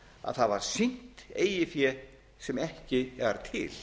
að það var sýnt eigið fé sem ekki var til